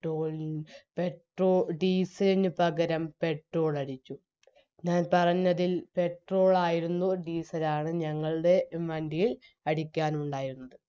ട്രോളിൽ petro diesel ലിനു പകരം petrol അടിച്ചു ഞാൻ പറഞ്ഞതിൽ petrol ആയിരുന്നു diesel ആണ് ഞങ്ങളുടെ വണ്ടിയിൽ അടിക്കാനുണ്ടായിരുന്നത്